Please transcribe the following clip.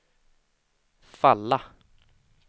falla